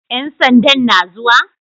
Ƴan sandan na zuwa?